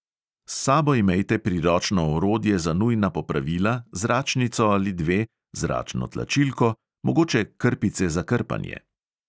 S sabo imejte priročno orodje za nujna popravila, zračnico ali dve, zračno tlačilko, mogoče krpice za krpanje ...